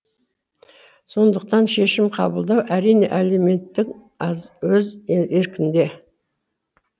сондықтан шешім қабылдау әрине әлеуметітң өз еркіңде